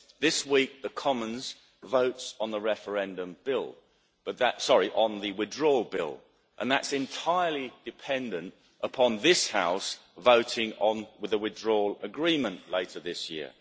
This week the Commons votes on the Withdrawal Bill, and that's entirely dependent upon this House voting on the Withdrawal Agreement later this year.